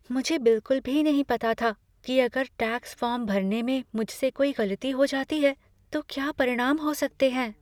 मुझे बिल्कुल भी नहीं पता था कि अगर टैक्स फॉर्म भरने में मुझसे कोई गलती हो जाती है, तो क्या परिणाम हो सकते हैं।